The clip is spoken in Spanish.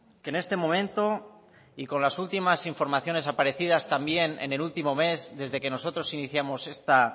que en este momento y con las últimas informaciones aparecidas también en el último mes desde que nosotros iniciamos